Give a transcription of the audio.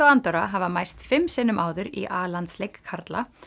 og Andorra hafa mæst fimm sinnum áður í a landsleik karla